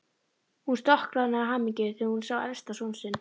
Hún stokkroðnaði af hamingju þegar hún sá elsta son sinn.